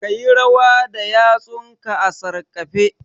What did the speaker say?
Ka yi rawa da yatsunka a sarƙafe